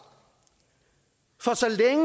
for